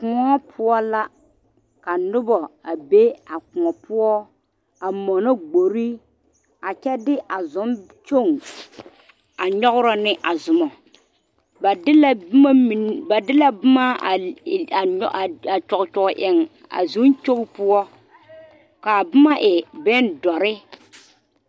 Koɔ poɔ la ka noba a be a koɔ poɔ a mɔnɔ gbori a kyɛ de a zonkyogi a nyɔgrɔ ne a zoma ba de la boma mine ba de la boma a e a kyɔge kyɔge eŋ a zonkyogi poɔ k,a boma e bondɔre.